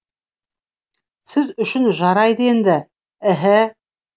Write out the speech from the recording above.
сіз үшін жарайды енді іһі